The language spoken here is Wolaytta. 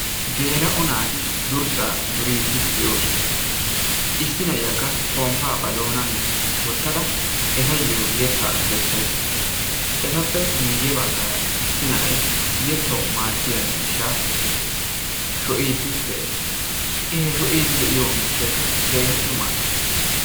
Geela"o naati durssaa duriidi de'oosona. Issi na'iyaakka pomppaa ba doonan wottada ettayoo yeettaa keessaydda dawus. Eettappe guuyye baggaara issi na'ay yeettawu maadiyaa miishshaa shocciidi de'ees. I he shoociidi de'iyoo miishaykka keehin maaddees.